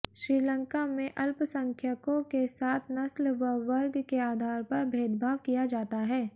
श्रीलंका में अल्पसंख्यकों के साथ नस्ल व वर्ग के आधार पर भेदभाव किया जाता है